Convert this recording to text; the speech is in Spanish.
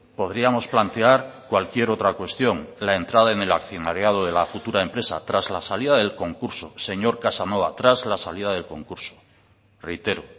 podríamos plantear cualquier otra cuestión la entrada en el accionariado de la futura empresa tras la salida del concurso señor casanova tras la salida del concurso reitero